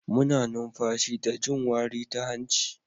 Muna numfashi da jin wari ta hanci.